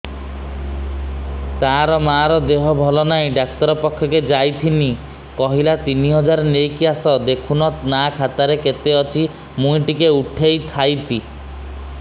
ତାର ମାର ଦେହେ ଭଲ ନାଇଁ ଡାକ୍ତର ପଖକେ ଯାଈଥିନି କହିଲା ତିନ ହଜାର ନେଇକି ଆସ ଦେଖୁନ ନା ଖାତାରେ କେତେ ଅଛି ମୁଇଁ ଟିକେ ଉଠେଇ ଥାଇତି